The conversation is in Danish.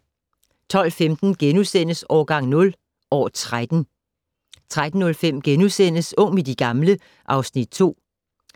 12:15: Årgang 0 - år 13 * 13:05: Ung med de gamle (Afs. 2)*